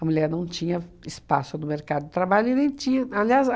A mulher não tinha espaço no mercado de trabalho e nem tinha. Aliás